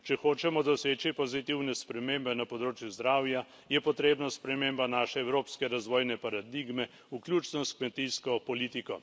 Če hočemo doseči pozitivne spremembe na področju zdravja, je potrebna sprememba naše evropske razvojne paradigme, vključno s kmetijsko politiko.